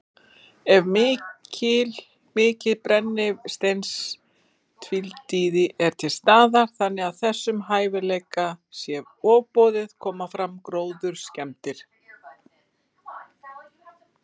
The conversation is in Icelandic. Ef mikið brennisteinstvíildi er til staðar, þannig að þessum hæfileika sé ofboðið, koma fram gróðurskemmdir.